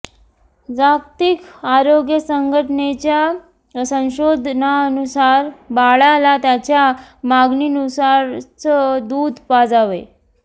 जागतिक आरोग्य संघटनेच्या संशोधनानुसार बाळाला त्याच्या मागनीनुसारच दुध पाजावे